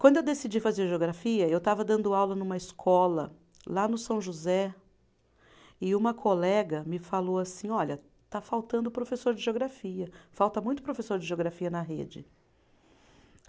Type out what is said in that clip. Quando eu decidi fazer geografia, eu estava dando aula numa escola lá no São José, e uma colega me falou assim, olha, está faltando professor de geografia, falta muito professor de geografia na rede.